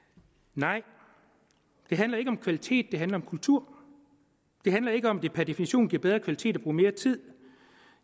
nej det handler ikke om kvalitet det handler om kultur det handler ikke om hvorvidt det per definition giver bedre kvalitet at bruge mere tid